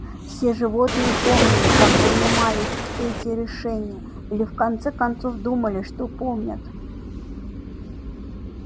все животные помнили как принимались эти решения или в конце концов думали что помнят